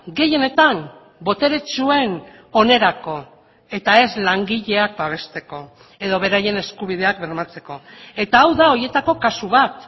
gehienetan boteretsuen onerako eta ez langileak babesteko edo beraien eskubideak bermatzeko eta hau da horietako kasu bat